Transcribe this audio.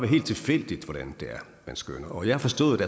helt tilfældigt hvordan det er man skønner jeg har forstået